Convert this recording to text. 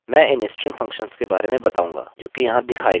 मैं इन string functions के बारे में बताऊँगा जोकि यहाँ दिखाए गए हैं